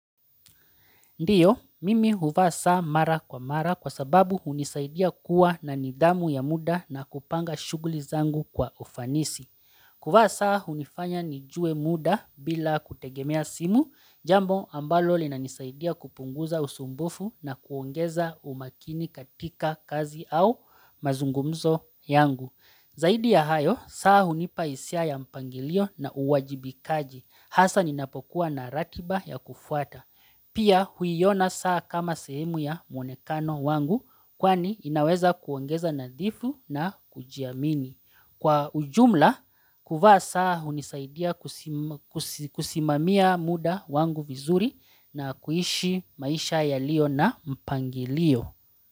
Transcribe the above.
Ndio, mimi huvaa saa mara kwa mara kwa sababu hunisaidia kuwa na nidhamu ya muda na kupanga shughuli zangu kwa ufanisi. Kuvaa saa, hunifanya nijue muda bila kutegemea simu, jambo ambalo lina nisaidia kupunguza usumbufu na kuongeza umakini katika kazi au mazungumzo yangu. Zaidi ya hayo, saa hunipa hisia ya mpangilio na uwajibikaji, hasa ninapokuwa na ratiba ya kufuata. Pia huiona saa kama sehemu ya mwonekano wangu kwani inaweza kuongeza nadhifu na kujiamini. Kwa ujumla, kuvaa saa unisaidia kusimamia muda wangu vizuri na kuishi maisha yaliyo na mpangilio.